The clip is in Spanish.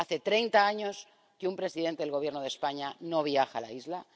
Hace treinta años que un presidente del Gobierno de España no viaja a la isla.